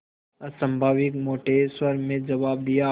अस्वाभाविक मोटे स्वर में जवाब दिया